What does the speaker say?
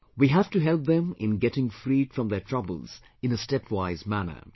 We have to help them in getting freed from their troubles in a stepwise manner